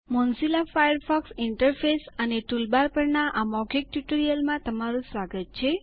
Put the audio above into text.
Mozilla Firefox interface અને toolbar પરના આ મૌખિક ટ્યુટોરીયલમાં તમારું સ્વાગત છે